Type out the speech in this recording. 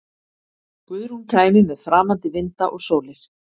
Guðrún kæmi með framandi vinda og sólir.